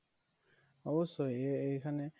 অব্যশই এই এইখানে